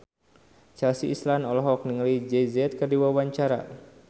Chelsea Islan olohok ningali Jay Z keur diwawancara